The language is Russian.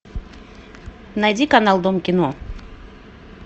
найди канал дом кино